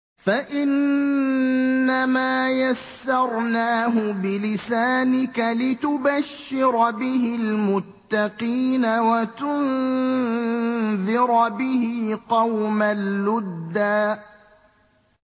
فَإِنَّمَا يَسَّرْنَاهُ بِلِسَانِكَ لِتُبَشِّرَ بِهِ الْمُتَّقِينَ وَتُنذِرَ بِهِ قَوْمًا لُّدًّا